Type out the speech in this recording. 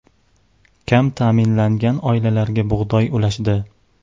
Kam ta’minlangan oilalarga bug‘doy ulashdi.